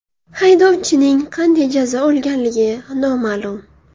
Haydovchining qanday jazo olganligi noma’lum.